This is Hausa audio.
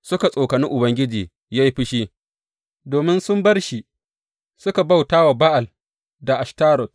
Suka tsokani Ubangiji ya yi fushi domin sun bar shi suka bauta wa Ba’al da Ashtarot.